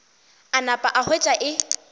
a napa a hwetša e